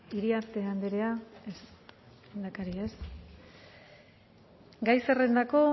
iriarte andrea ez lehendakari ez gai zerrendako